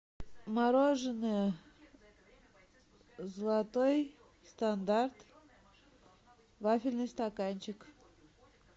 мороженое золотой стандарт вафельный стаканчик